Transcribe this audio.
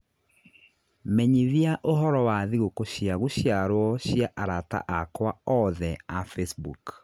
menyithia ũhoro wa thigũkũ cia gũciarwo cia arata akwa othe a Facebook